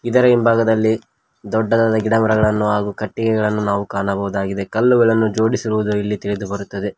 ಇದರ ಹಿಂಭಾಗದಲ್ಲಿ ದೊಡ್ಡದಾದ ಗಿಡಗಳನ್ನು ಹಾಗು ಕಟ್ಟಿಗೆಗಳನ್ನು ನಾವು ಕಾಣಬಹುದಾಗಿದೆ ಕಲ್ಲುಗಳನ್ನು ಜೋಡಿಸಿರುವುದು ಇಲ್ಲಿ ತಿಳಿದು ಬರುತ್ತದೆ.